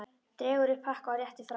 Dregur upp pakka og réttir fram.